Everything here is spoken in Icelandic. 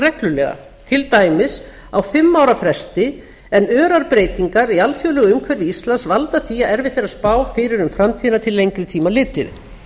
reglulega til dæmis á fimm ára fresti en örar breytingar í alþjóðlegu umhverfi íslands valda því að erfitt er að spá fyrir um framtíðina til lengri tíma litið